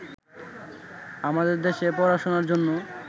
আমাদের দেশে পড়াশোনার জন্য